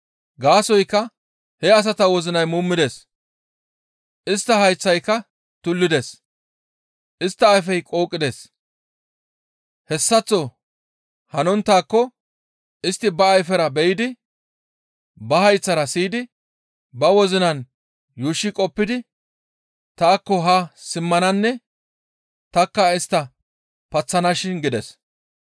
Gaasoykka he asata wozinay muumides; istta hayththayka tullides; istta ayfey qooqides. Hessaththo hanonttaako istti ba ayfera be7idi, ba hayththara siyidi ba wozinan yuushshi qoppidi, taakko haa simmananne tanikka istta paththanashin› gides.